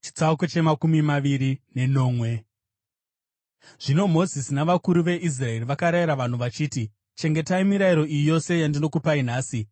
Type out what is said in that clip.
Zvino Mozisi navakuru veIsraeri vakarayira vanhu vachiti, “Chengetai mirayiro iyi yose yandinokupai nhasi.